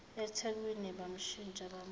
ethekwini bamshintsha bamusa